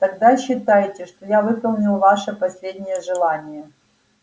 тогда считайте что я выполнил ваше последнее желание